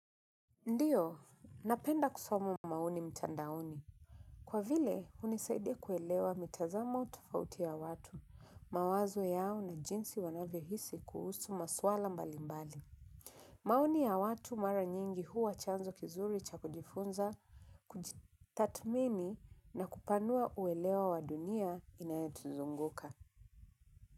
Ndiyo, napenda kusoma maoni mtandaoni. Kwa vile hunisaidia kuelewa mitazamo tofauti ya watu mawazo yao na jinsi wanavyohisi kuhusu masuala mbalimbali. Maoni ya watu mara nyingi huwa chanzo kizuri cha kujifunza, kujitathmini na kupanua uelewa wa dunia inayotuzunguka.